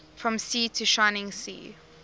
from sea to shining sea